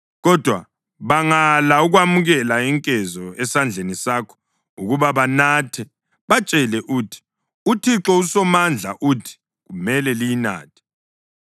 Kodwa bangala ukwamukela inkezo esandleni sakho ukuba banathe, batshele uthi, ‘ UThixo uSomandla uthi: Kumele liyinathe!